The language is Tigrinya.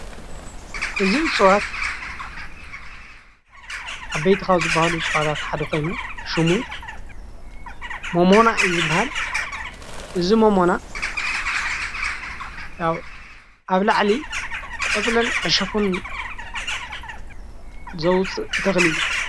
እዚ እፅዌት ዓበይቲ ካብ ዝበሃሉ እፅዋታት ሓደ ኾይኑ ሽሙ ሞሞና እዬ ዝበሃል። እጺ ሞሞና ኣብ ላዕሊ ዕሾክ ዘውጽእ ተክሊ እዩ።